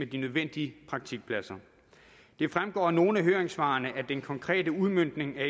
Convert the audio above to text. de nødvendige praktikpladser det fremgår af nogle af høringssvarene at den konkrete udmøntning af